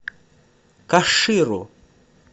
каширу